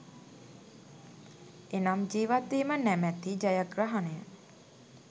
එනම් ජීවත්වීම නමැති ජයග්‍රහණය